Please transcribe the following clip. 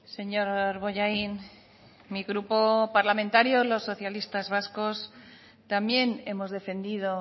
señor bollain mi grupo parlamentario los socialistas vascos también hemos defendido